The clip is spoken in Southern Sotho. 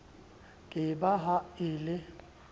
ke ba ha e le